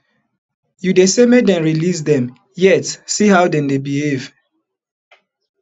you dey say make dem release dem yet see how dem dey behave